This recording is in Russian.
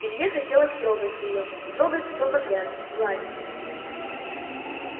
илье хотелось трогать её трогать все подряд гладить